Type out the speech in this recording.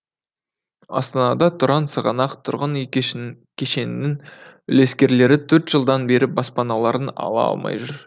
астанада тұран сығанақ тұрғын үй кешін кешенінің үлескерлері төрт жылдан бері баспаналарын ала алмай жүр